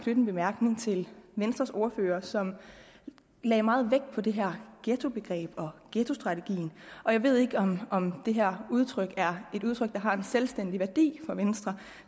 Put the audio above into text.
en bemærkning til venstres ordfører som lagde meget vægt på det her ghettobegreb og ghettostrategien jeg ved ikke om om det her udtryk er et udtryk der har en selvstændig værdi for venstre